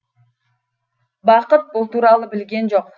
бақыт бұл туралы білген жоқ